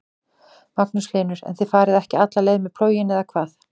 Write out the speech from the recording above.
Magnús Hlynur: En þið farið ekki alla leið með plóginn eða hvað?